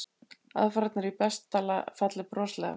Aðfarirnar í besta falli broslegar.